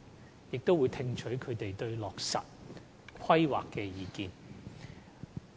辦公室並會聽取業界對落實《規劃》的意見，